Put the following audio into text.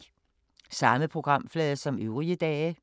Samme programflade som øvrige dage